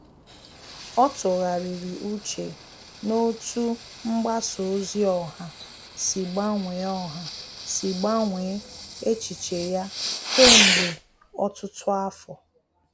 Ọ́ tụ́ghàrị̀rị̀ úchè n’otú mgbasa ozi ọha sí gbanwee ọha sí gbanwee echiche ya kèmgbe ọtụ́tụ́ afọ.